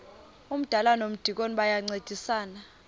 umdala nomdikoni bayancedisana